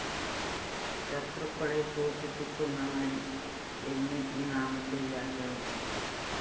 ശത്രുക്കളെ ശോഷിപ്പിക്കുന്നവന്‍ എന്ന് ഈ നാമത്തെ വ്യാഖ്യാനിക്കാം